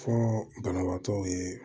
Fo banabaatɔw ye